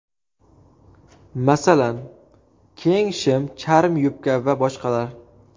Masalan, keng shim, charm yubka va boshqalar.